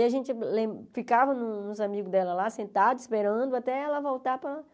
E a gente lem ficava nos amigos dela lá, sentado, esperando até ela voltar para...